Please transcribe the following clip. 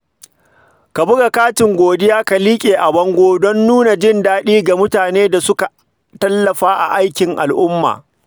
Ka buga katin godiya ka liƙa a bango don nuna jin daɗi ga mutanen da suka tallafa a aikin al’umma.